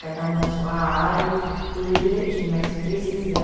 Cada um na sua área, tudo direitinho, mas se precisar,